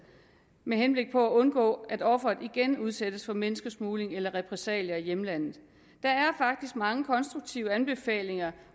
med henblik på at undgå at offeret igen udsættes for menneskesmugling eller repressalier i hjemlandet der er faktisk mange konstruktive anbefalinger